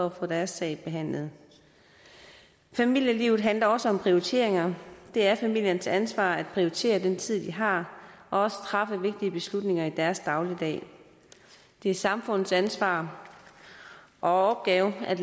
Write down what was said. at få deres sag behandlet familielivet handler også om prioriteringer det er familiens ansvar at prioritere den tid de har og træffe vigtige beslutninger i deres dagligdag det er samfundets ansvar og opgave at